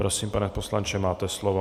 Prosím, pane poslanče, máte slovo.